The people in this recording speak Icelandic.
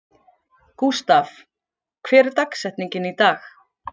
Gústav, hver er dagsetningin í dag?